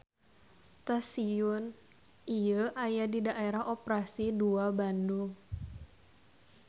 Stasion ieu aya di Daerah Operasi II Bandung.